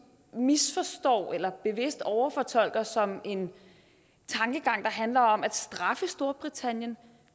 misforstår eller bevidst overfortolker som en tankegang der handler om at straffe storbritannien